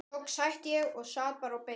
Loks hætti ég og sat bara og beið.